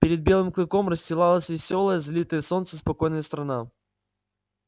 перед белым клыком расстилалась весёлая залитая солнцем спокойная страна